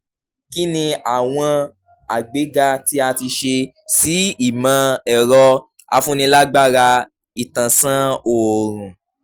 kí ni àwọn àgbéga tí a ti ṣe sí ìmọ̀-ẹ̀rọ-afúnilágbára ìtànsán òorùn?